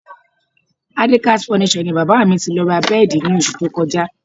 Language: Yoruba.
Adekaz Furniture ni bàbá mi ti lọ ra bẹ́ẹ̀dì ní oṣù tó kọjá